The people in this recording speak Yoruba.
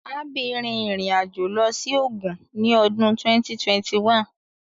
Abby rin irin ajo lọ si Ogun ni ọdun 2021